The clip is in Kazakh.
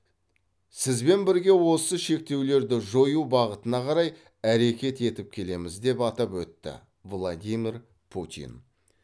сізбен бірге осы шектеулерді жою бағытына қарай әрекет етіп келеміз деп атап өтті владимир путин